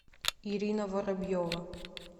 ирина воробьева